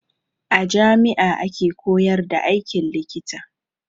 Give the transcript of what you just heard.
A jami'a ake koyar da aikin likita.